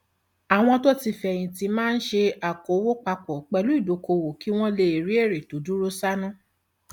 àwọn tó ti fẹyìn tì máa ń ṣe okòwò pa pọ pẹlú ìdókòwò kí wọn lè rí èrè tó dúró sánún